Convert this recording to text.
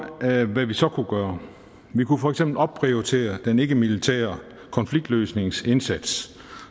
hvad vi så kunne gøre vi kunne for eksempel opprioritere den ikkemilitære konfliktløsningsindsats